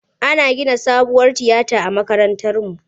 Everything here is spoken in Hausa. Ana gina sabuwar tiyaya a makarantarmu.